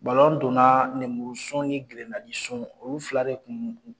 donna nenburusun ni girinadisun olu fila de kun